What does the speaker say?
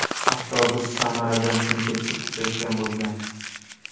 Avtobus Samaradan Chimkentga ketayotgan bo‘lgan.